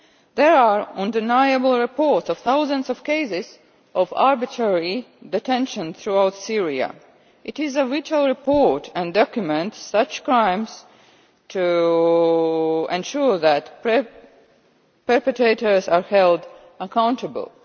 There are undeniable reports of thousands of cases of arbitrary detention throughout Syria. It is a vital report and documents such crimes to ensure that perpetrators are held accountable.